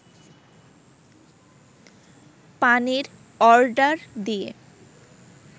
পানির অর্ডার দিয়ে